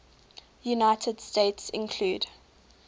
united states include